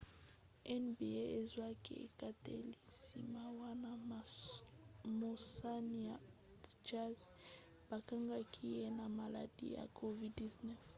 nba ezwaki ekateli nsima wana mosani ya utah jazz bakangaki ye na maladi ya covid-19